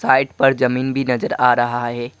Height पर जमीन भी नजर आ रहा है।